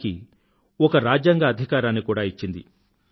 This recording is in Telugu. దానికి ఒక రాజ్యాంగ అధికారాన్ని కూడా ఇచ్చింది